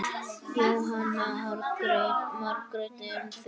Jóhanna Margrét: En þið?